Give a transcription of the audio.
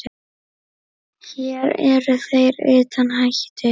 Hér eru þeir utan hættu.